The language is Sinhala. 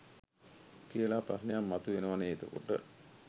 කියලා ප්‍රශ්නයක් මතු වෙනවනේ එතකොට